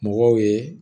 Mɔgɔw ye